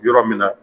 Yɔrɔ min na